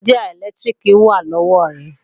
Ṣájà ẹ̀lẹ́tíríkì wà lọ́wọ́ rẹ̀